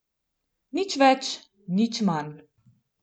Nič več in nič manj.